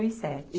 e sete